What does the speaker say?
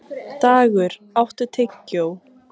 Dagur, áttu tyggjó?